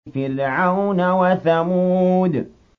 فِرْعَوْنَ وَثَمُودَ